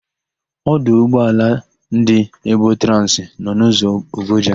Ọdụ ụgbọala ndị Ebotransị nọ n'ụzọ Ogoja.